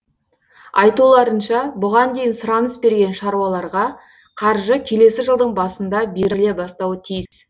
айтуларынша бұған дейін сұраныс берген шаруаларға қаржы келесі жылдың басында беріле бастауы тиіс